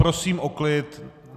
Prosím o klid!